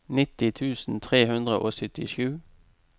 nitti tusen tre hundre og syttisju